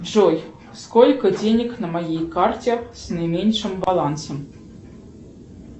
джой сколько денег на моей карте с наименьшим балансом